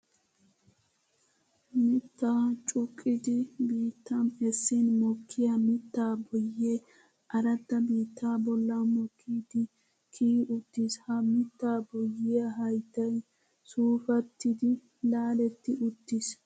Mitta cuqqiddi biittan essin mokkiya mitta boye aradda biitta bolla mokkiddi kiyi uttiis. Ha mitta boyiya hayttay suufattiddi laaletti uttiis.